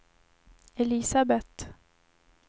Elisabeth